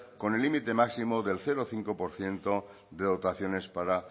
con el límite máximo del cero coma cinco por ciento de dotaciones para